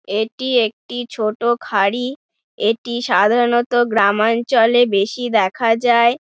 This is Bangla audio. এইটি একটি ছোট খাড়ি | এইটি সাধারণত গ্রাম অঞ্চলে বেশি দেখা যায় ।